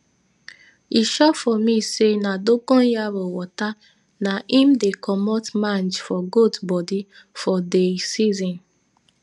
e sure for me say dongonyaro water na im dey commot mange for goat bodi for dey season